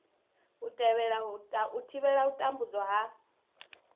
u thivhela u tambudzwa ha